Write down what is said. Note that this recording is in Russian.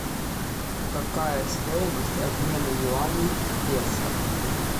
какая стоимость обмена юаней в песо